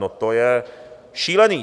No to je šílený.